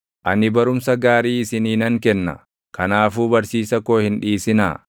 Ani barumsa gaarii isinii nan kenna; kanaafuu barsiisa koo hin dhiisinaa.